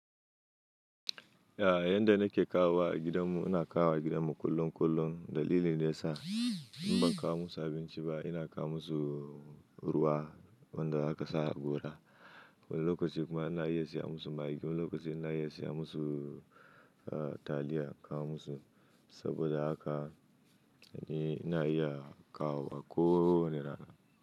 Ya, yanda nake kawo a gidanmu, ina kawo gidanmu kullun kullun. Dalili ne ya sa in ban kawo musu abinci ba, ina kawo musu ruwa wanda aka sa a gora. Wani lokaci kuma ina iya siya musu magi. Wani lokaci ina iya siya musu taliya in kawo musu saboda haka ina iya kawo wa ko wane rana.